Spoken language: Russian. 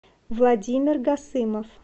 владимир гасымов